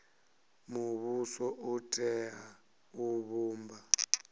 muvhuso u tea u vhumba